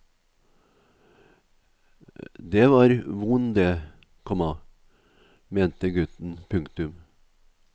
Det var von det, komma mente gutten. punktum